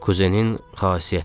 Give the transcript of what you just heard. Kuzenin xasiyyətidir.